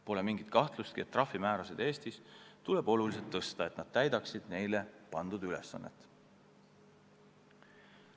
Pole mingit kahtlustki, et trahvimäärasid Eestis tuleb oluliselt tõsta, et need täidaksid neile pandud ülesannet.